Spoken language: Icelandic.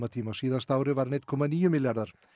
tíma á síðasta ári var hann einn komma níu milljarðar